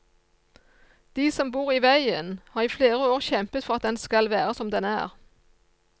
De som bor i veien, har i flere år kjempet for at den skal være som den er.